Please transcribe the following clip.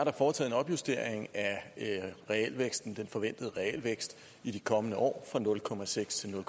er foretaget en opjustering af den forventede realvækst i de kommende år fra nul procent til nul